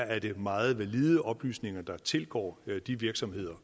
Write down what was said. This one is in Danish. at det er meget valide oplysninger der tilgår de virksomheder